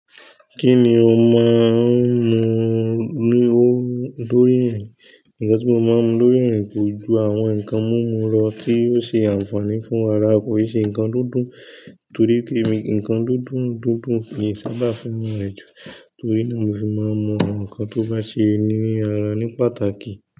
Kí ni o máa ń mu lórí irìn? Ǹkan tí mo máa ń mu lórí ẹ̀rìn kò ju àwọn nǹkan mímu lọ tí oo ṣe àǹfààní fún ara kò e ṣe nǹkan dúndun torí pé èmi nǹkan dúndun dúndún emi sábà fún mi ẹjù torí náà mo fi máa ń mu nǹkan tó bá ṣe ní ara ní pàtàkì.